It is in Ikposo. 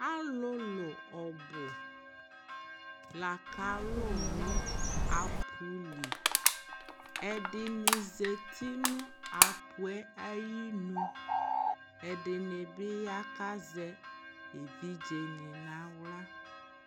Alʋlʋ ɔbʋ laka lʋ nʋ aƒʋ lɩ ɛdɩnɩ zatɩ nʋ aƒʋ yɛ ayɩ nʋ ɛdɩnɩ bɩ ya kazɛ evɩdze nɩ naɣla